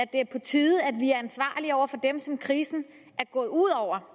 det er på tide at vi er ansvarlige over for dem som krisen er gået ud over